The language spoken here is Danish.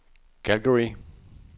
Calgary